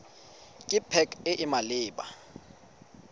ke pac e e maleba